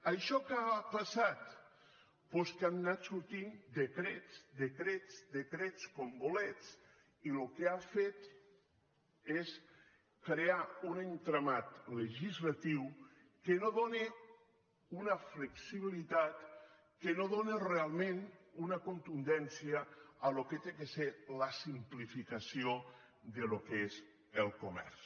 això què ha passat doncs que han anat sortint decrets decrets decrets com bolets i el que ha fet és crear un entramat legislatiu que no dóna una flexibilitat que no dóna realment una contundència al que ha de ser la simplificació del que és el comerç